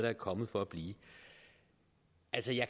er kommet for at blive